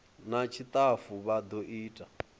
na tshitafu vha do ita